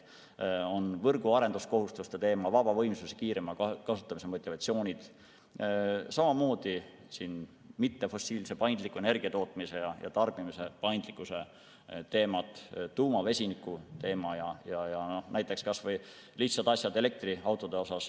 On võrgu arendamise kohustuste teema, vabavõimsuse kiirema kasutamise motivatsioonid, samamoodi mittefossiilse energiatootmise ja -tarbimise paindlikkuse teemad, tuuma- ja vesinikuteema ja kas või lihtsad meetmed elektriautode osas.